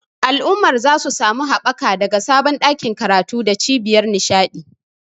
Al'ummar za su sami haɓaka daga sabon ɗakin karatu da cibiyar nishaɗi.